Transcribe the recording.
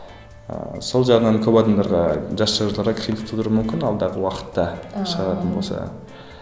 ыыы сол жағынан көп адамдарға жас жазушыларға қиындық тудыруы мүмкін алдағы уақытта шығаратын болса